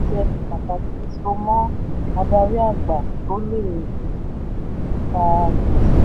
fún àpẹẹrẹ ìpèsè ẹni pàtàkì so mọ́ adarí àgbà tó lè um fa gbèsè?